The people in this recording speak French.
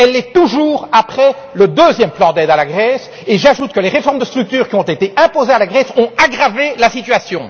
Elle l'est toujours après le deuxième plan d'aide à la Grèce, et j'ajoute que les réformes de structures qui ont été imposées à la Grèce ont aggravé la situation.